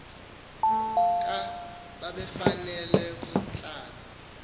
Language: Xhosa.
ka babefanele ukuhlala